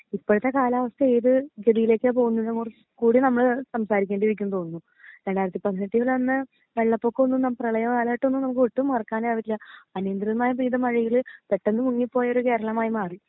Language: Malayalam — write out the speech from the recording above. ഇപ്പഴത്തെ കാലാവസ്ഥ ഏത് സ്ഥിതിയിലേക്ക പോകുന്നെ കുറിച്ച് കൂടി നമ്മൾ സംസാരിക്കേണ്ടിരിക്കും തോന്നുന്നു രണ്ടായിരത്തി പതിനെട്ടിൽ തന്നെ വെള്ളപ്പൊക്കൊന്നും പ്രെളയ കാലഘട്ടൊന്നും നമ്മുക്ക് ഒട്ടും കൊറക്കാനെ ആവില്ല അനുഗ്രഹമായ പെയ്ത മഴയിൽ പെട്ടന്ന് മുങ്ങിപ്പോയ ഒരു കേരളമായി മാറി